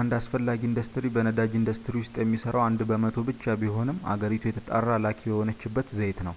አንድ አስፈላጊ ኢንዱስትሪ በነዳጅ ኢንዱስትሪ ውስጥ የሚሠራው አንድ በመቶ ብቻ ቢሆንም አገሪቱ የተጣራ ላኪ የሆነችበት ዘይት ነው